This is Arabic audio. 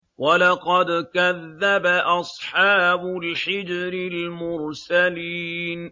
وَلَقَدْ كَذَّبَ أَصْحَابُ الْحِجْرِ الْمُرْسَلِينَ